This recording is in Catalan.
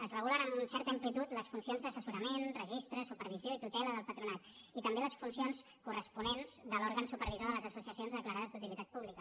es regulen amb certa amplitud les funcions d’assessorament registre supervisió i tutela del patronat i també les funcions corresponents de l’òrgan supervisor de les associacions declarades d’utilitat pública